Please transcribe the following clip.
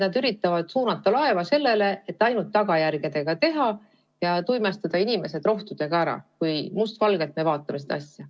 Nad üritavad suunata laeva nii, et tegelda ainult tagajärgedega ja tuimestada inimesed rohtudega ära, kui me n-ö mustvalgelt vaatame seda asja.